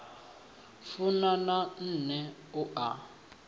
funa na nṋe u a